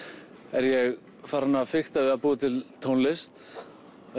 er ég farinn að fikta við að búa til tónlist